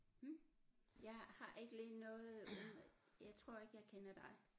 Hm jeg har ikke lige noget jeg tror ikke jeg kender dig